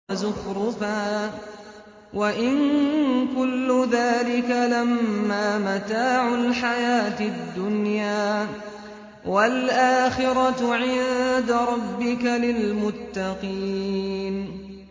وَزُخْرُفًا ۚ وَإِن كُلُّ ذَٰلِكَ لَمَّا مَتَاعُ الْحَيَاةِ الدُّنْيَا ۚ وَالْآخِرَةُ عِندَ رَبِّكَ لِلْمُتَّقِينَ